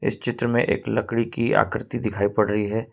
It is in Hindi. चित्र में एक लकड़ी की आकृति दिखाई पड़ रही है।